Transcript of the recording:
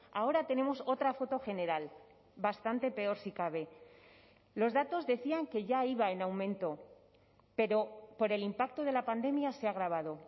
ahora tenemos otra foto general bastante peor si cabe los datos decían que ya iba en aumento pero por el impacto de la pandemia se ha agravado